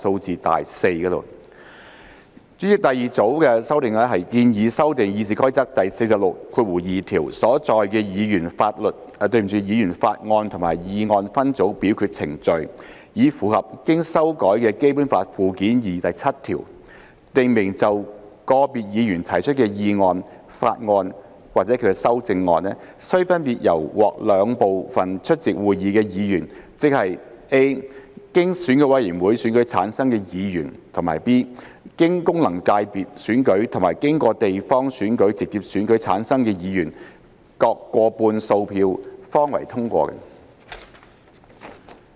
主席，第二組的修訂建議修訂《議事規則》第462條所載的議員法案和議案分組表決程序，以符合經修改的《基本法》附件二第七條，訂明就個別議員提出的議案、法案或其修正案須分別獲兩部分出席會議的議員，即 a 經選舉委員會選舉產生的議員；及 b 經功能界別選舉和經地方選區直接選舉產生的議員，各過半數票方為通過。